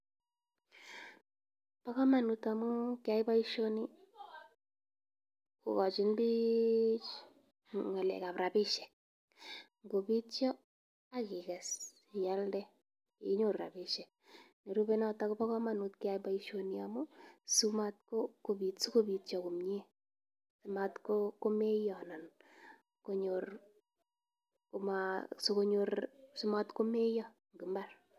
Bo kamanut amu keyai boisioni kogochin biich ng'alekab rabisiek. Ngobitio, ak iges ialde inyoru abisiek. Nerube notok kobo kamanut keyai boisioni amu, simat ko sogobitio komnye. Mat komeiyo anan konyor, koma sogonyor simat komeiyo eng imbar.